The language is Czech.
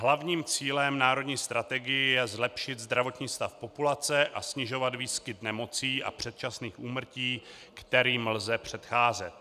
Hlavním cílem národní strategie je zlepšit zdravotní stav populace a snižovat výskyt nemocí a předčasných úmrtí, kterým lze předcházet.